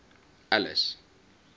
alice